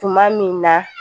Tuma min na